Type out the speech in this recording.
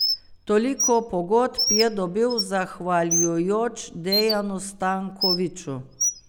Toliko pogodb je dobil zahvaljujoč Dejanu Stankoviću.